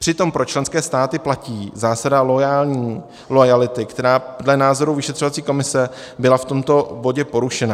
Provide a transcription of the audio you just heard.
Přitom pro členské státy platí zásada loajality, která dle názoru vyšetřovací komise byla v tomto bodě porušena.